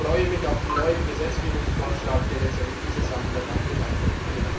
Ich freue mich auf den neuen Gesetzgebungsvorschlag, der letztendlich diese Sachen dann auch mit einbringt.